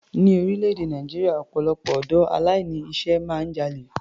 Ní orílẹ̀-èdè Nàìjíríà, ọpọ̀lọpọ̀ ọ̀dọ́ aláìní iṣẹ́ máa ń jalè.